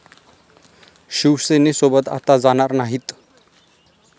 शिवसेनेसोबत आता जाणार नाहीत.